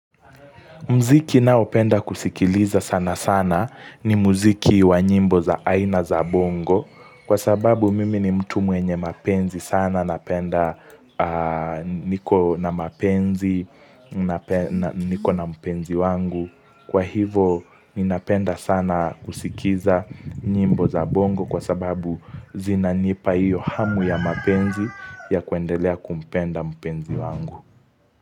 Mziki naopenda kusikiliza sana sana ni muziki wa nyimbo za aina za bongo kwa sababu mimi ni mtu mwenye mapenzi sana napenda niko na mapenzi nikona mpenzi wangu. Kwa hivo ninapenda sana kusikiza nyimbo za bongo kwa sababu zinanipa hiyo hamu ya mapenzi ya kuendelea kumpenda mpenzi wangu.